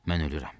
Mən ölürəm.